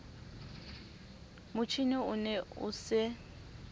motjhine o ne o se